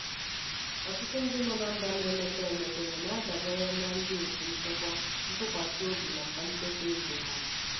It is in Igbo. ọtụtụ ndị nọ na mba na-emepe emepe na-adabere na ndị otu nchekwa ntụkwasị obi maka nchekwa ego ha.